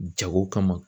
Jago kama